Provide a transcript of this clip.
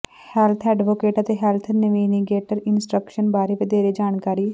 health advocate ਅਤੇ health navigator instruction ਬਾਰੇ ਵਧੇਰੇ ਜਾਣਕਾਰੀ